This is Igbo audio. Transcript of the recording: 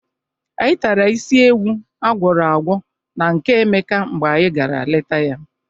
Anyị tara isi ewu a gwọrọ agwọ na nke Emeka mgbe anyị gara leta ya.